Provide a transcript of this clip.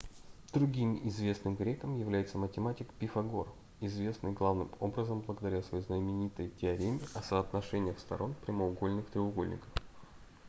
другим известным греком является математик пифагор известный главным образом благодаря своей знаменитой теореме о соотношениях сторон прямоугольных треугольников